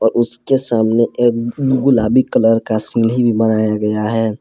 उसके सामने एक गुलाबी कलर का सीढ़ी भी बनाया गया है।